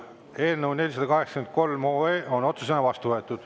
Eelnõu 483 on otsusena vastu võetud.